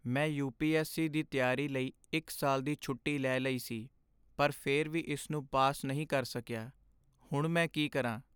ਮੈਂ ਯੂ.ਪੀ.ਐਸ.ਸੀ. ਦੀ ਤਿਆਰੀ ਲਈ ਇੱਕ ਸਾਲ ਦੀ ਛੁੱਟੀ ਲੈ ਲਈ ਸੀ ਪਰ ਫਿਰ ਵੀ ਇਸ ਨੂੰ ਪਾਸ ਨਹੀਂ ਕਰ ਸਕਿਆ। ਹੁਣ ਮੈਂ ਕੀ ਕਰਾਂ?